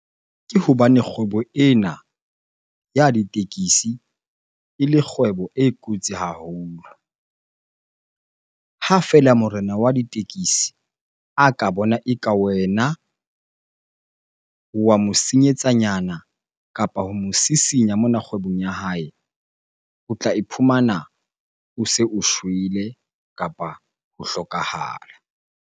Ke hobane kgwebo ena ya ditekesi ele kgwebo e kotsi haholo. Ha feela morena wa ditekesi a ka bona e ka wena o wa mo senyetsa nyana kapa ho mo sisinya mona kgwebong ya hae, o tla iphumana o se o shwele kapa ho hlokahala.